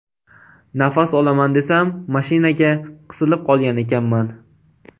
Nafas olaman desam, mashinaga qisilib qolgan ekanman.